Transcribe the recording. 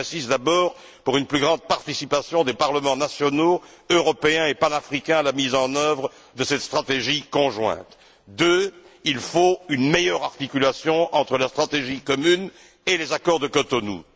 J'insiste d'abord pour une plus grande participation des parlements nationaux, européens et panafricains à la mise en œuvre de cette stratégie conjointe. Deuxièmement, il faut une meilleure articulation entre la stratégie commune et les accords de Cotonou.